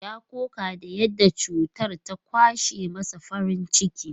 Ya koka da yadda cutar ta ƙwace masa farin ciki.